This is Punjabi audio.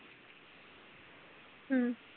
ਹਮ